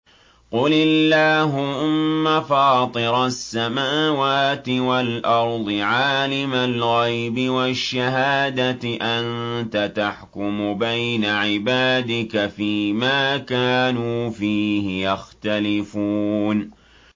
قُلِ اللَّهُمَّ فَاطِرَ السَّمَاوَاتِ وَالْأَرْضِ عَالِمَ الْغَيْبِ وَالشَّهَادَةِ أَنتَ تَحْكُمُ بَيْنَ عِبَادِكَ فِي مَا كَانُوا فِيهِ يَخْتَلِفُونَ